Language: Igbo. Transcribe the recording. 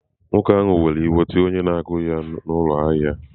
Nwoke ahụ were iwe were tie onye na-agụ ya n'ụlọ ahịa.